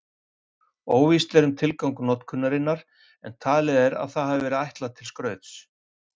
Óvíst er um tilgang notkunarinnar en talið er að það hafi verið ætlað til skrauts.